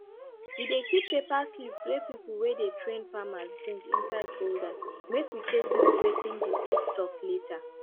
we dey keep paper slips wey people wey dey train farmers bring inside folder make we take look wetin di slip tok later